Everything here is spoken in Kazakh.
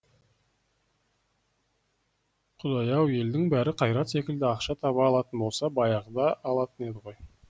құдай ау елдің бәрі қайрат секілді ақша таба алатын болса баяғыда алатын еді ғой